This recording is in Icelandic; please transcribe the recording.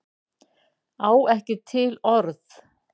Á ekki til orð.